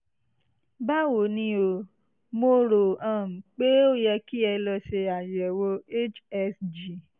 báwo ni o? mo rò um pé ó yẹ kí ẹ lọ ṣe àyẹ̀wò hsg